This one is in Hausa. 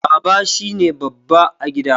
Baba shine babba a gida